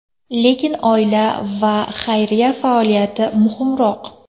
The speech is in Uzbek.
Lekin oila va xayriya faoliyati muhimroq.